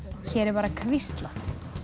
hér er bara hvíslað